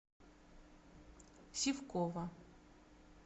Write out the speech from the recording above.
сивкова